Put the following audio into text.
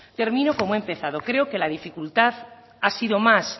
termino como he empezado ceo que la dificultad ha sido más